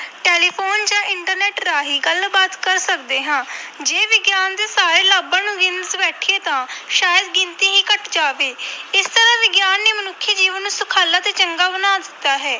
Telephone ਜਾਂ internet ਰਾਹੀਂ ਗੱਲਬਾਤ ਕਰ ਸਕਦੇ ਹਾਂ, ਜੇ ਵਿਗਿਆਨ ਦੇ ਸਾਰੇ ਲਾਭਾਂ ਨੂੰ ਗਿਣਨ ਬੈਠੀਏ ਤਾਂ ਸ਼ਾਇਦ ਗਿਣਤੀ ਹੀ ਘੱਟ ਜਾਵੇ ਇਸ ਤਰ੍ਹਾਂ ਵਿਗਿਆਨ ਨੇ ਮਨੁੱਖੀ ਜੀਵਨ ਨੂੰ ਸੁਖਾਲਾ ਤੇ ਚੰਗਾ ਬਣਾ ਦਿੱਤਾ ਹੈ।